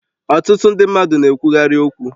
Ọtụtụ ndị mmadụ na-ekwukarị okwu